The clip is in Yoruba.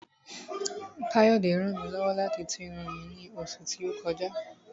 Káyọ̀dé ràn mí lọ́wọ́ láti tú irun mi ní oṣù tí ó kọjá